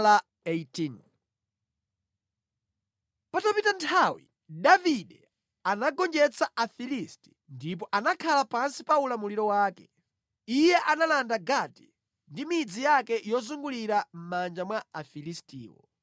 Patapita nthawi, Davide anagonjetsa Afilisti ndipo anakhala pansi pa ulamuliro wake. Iye analanda Gati ndi midzi yake yozungulira mʼmanja mwa Afilistiwo.